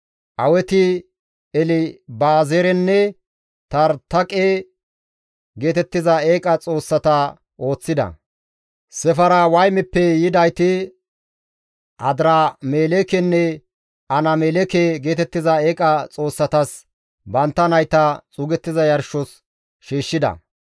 Aweti Elibazarenne Taritaqe geetettiza eeqa xoossata ooththida. Sefarwaymeppe yidayti Adiramelekenne Anameleke geetettiza eeqa xoossatas bantta nayta xuugettiza yarshos shiishshida.